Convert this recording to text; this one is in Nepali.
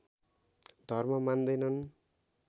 धर्म मान्दैनन्